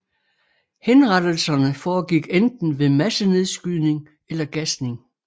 Henrettelserne foregik enten ved massenedskydning eller gasning